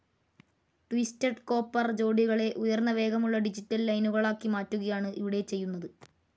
Twisted copper ജോടികളെ ഉയർന്ന വേഗമുള്ള ഡിജിറ്റൽ ലൈനുകളാക്കി മാറ്റുകയാണ് ഇവിടെ ചെയ്യുന്നത്.